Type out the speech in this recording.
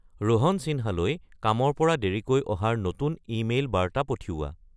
ৰোহন চিন্হালৈ কামৰ পৰা দেৰিকৈ অহাৰ নতুন ইমেইল বাৰ্তা পঠিওৱা